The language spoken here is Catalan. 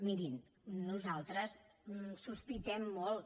mirin nosaltres sospitem molt